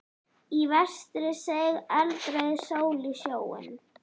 Í vestri seig eldrauð sól í sjóinn.